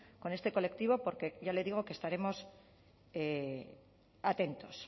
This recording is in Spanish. con este colectivo porque ya le digo estaremos atentos